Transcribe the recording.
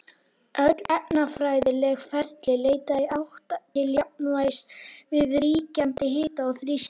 Öll efnafræðileg ferli leita í átt til jafnvægis við ríkjandi hita og þrýsting.